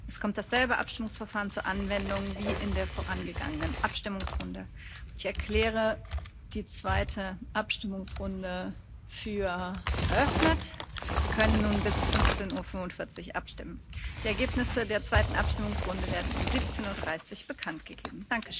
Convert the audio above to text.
Es kommt dasselbe Abstimmungsverfahren zur Anwendung wie in der vorangegangenen Abstimmungsrunde. Ich erkläre die zweite Abstimmungsrunde für eröffnet. Sie können bis 15.45 Uhr abstimmen. Die Ergebnisse der zweiten Abstimmungsrunde werden um 17.30 Uhr bekannt gegeben.